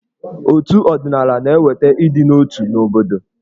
Otù ọdịnaala na-eweta ịdị n'otu n'obodo.